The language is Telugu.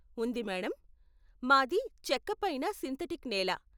ఉంది మేడమ్, మాది చెక్క పైన సింథటిక్ నేల.